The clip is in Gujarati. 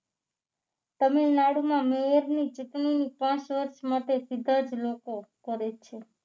તમિલનાડુમાં મેયરની ચૂંટણીની કાશવત માટે સીધા જ લોકો કરે છે